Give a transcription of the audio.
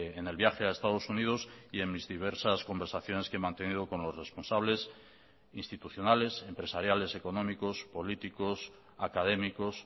en el viaje a estados unidos y en mis diversas conversaciones que he mantenido con los responsables institucionales empresariales económicos políticos académicos